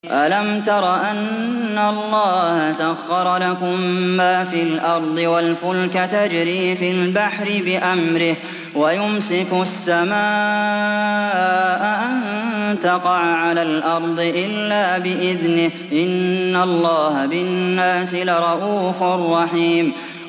أَلَمْ تَرَ أَنَّ اللَّهَ سَخَّرَ لَكُم مَّا فِي الْأَرْضِ وَالْفُلْكَ تَجْرِي فِي الْبَحْرِ بِأَمْرِهِ وَيُمْسِكُ السَّمَاءَ أَن تَقَعَ عَلَى الْأَرْضِ إِلَّا بِإِذْنِهِ ۗ إِنَّ اللَّهَ بِالنَّاسِ لَرَءُوفٌ رَّحِيمٌ